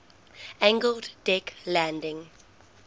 angled deck landing